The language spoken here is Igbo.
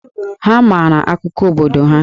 Ha maara akụkọ obodo ha.